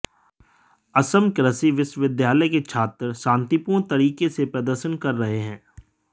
असम कृषि विश्वविद्यालय के छात्र शांतिपूर्ण तरीके से प्रदर्शन कर रहे हैं